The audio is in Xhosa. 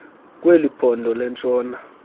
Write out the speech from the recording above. kweli phondo lentshona